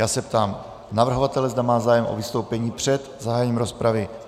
Já se ptám navrhovatele, zda má zájem o vystoupení před zahájením rozpravy.